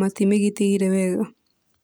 matimĩgitĩire wega.